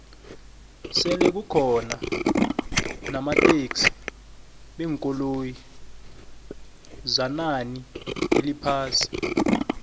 selekukona namathhengisi beenkoloyi zanani eliphasi